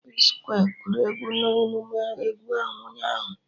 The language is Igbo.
P-skwe gụrụ egwu na emume egwu ahụ ụnyaahụ